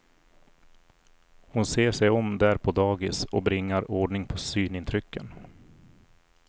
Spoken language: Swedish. Hon ser sig om där på dagis och bringar ordning på synintrycken.